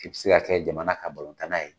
I bi se kɛ jamana ka tan na ye